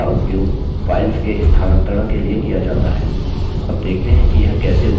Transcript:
इसका उपयोग files के स्थानांतरण के लिए किया जाता है अब देखते हैं कि यह कैसे उपयोगी है